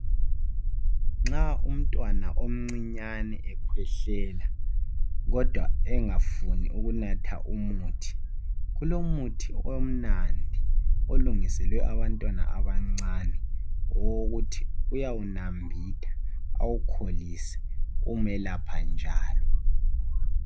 nxa umntwana omncinyane ekhwehlela kodwa engafuni ukunatha umuthi ,kulomuthi omnandi olungiselwe abantwana abancane owokuthi uyawunambitha awukholise ukumelapha njalo